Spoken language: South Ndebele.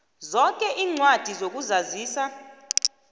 zoke iincwadi zokuzazisa